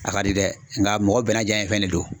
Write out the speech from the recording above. A ka di dɛ nga mɔgɔ bɛɛ n'a janɲɛ fɛn de do.